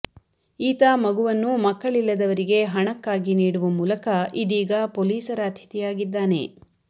ಈತ ಮಗುವನ್ನು ಮಕ್ಕಳಿಲ್ಲದವರಿಗೆ ಹಣಕ್ಕಾಗಿ ನೀಡುವ ಮೂಲಕ ಇದೀಗ ಪೊಲೀಸರ ಅತಿಥಿಯಾಗಿದ್ದಾನೆ